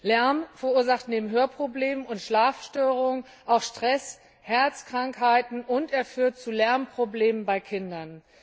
Lärm verursacht neben Hörproblemen und Schlafstörungen auch Stress, Herzkrankheiten, und er führt zu Lernproblemen bei Kindern.